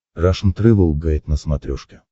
рашн тревел гайд на смотрешке